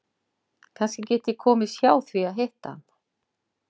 Kannski get ég komist hjá því að hitta hann.